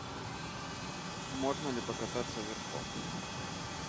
можно ли покататься верхом